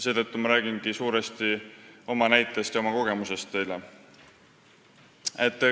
Seetõttu räägingi teile suuresti oma näitest ja kogemustest lähtuvalt.